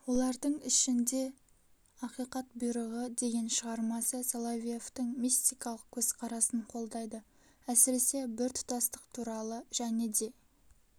олардың ішінде ақиқат бұйрығы деген шығармасы соловьевтің мистикалық көзқарасын қолдайды әсіресе біртұтастық туралы және де